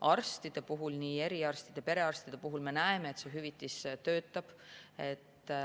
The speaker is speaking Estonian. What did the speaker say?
Arstide puhul, nii eriarstide kui ka perearstide puhul me näeme, et see hüvitis töötab.